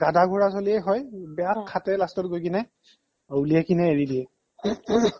গাধা ঘোৰা চলিয়ে হয় বেয়া খাটে last ত গৈ কিনে উলিয়াই কিনে এৰি দিয়ে